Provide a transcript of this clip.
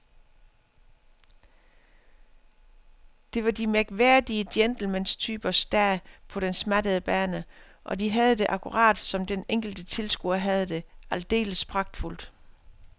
Det var de mærkværdige gentlementypers dag på den smattede bane, og de havde det, akkurat som den enkelte tilskuer havde det, aldeles pragtfuldt.